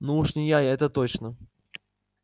ну уж не я это точно